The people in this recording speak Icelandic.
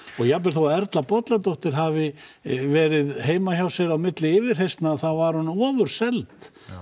og jafnvel þó Erla Bolladóttir hafi verið heima hjá sér á milli yfirheyrslna þá var hún ofurseld